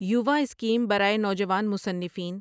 یووا scheme برائے نوجوان مصنفین